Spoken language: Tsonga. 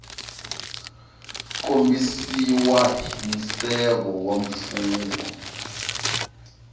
kombisiwa hi nseve wa mfungho